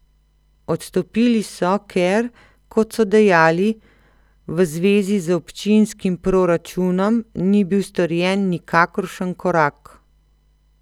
Odstopili so, ker, kot so dejali, v zvezi z občinskim proračunom ni bil storjen nikakršen korak.